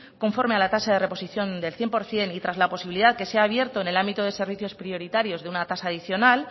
conforme a la tasa de reposición del cien por ciento y tras la posibilidad que se ha abierto en el ámbito de servicios prioritarios de una tasa adicional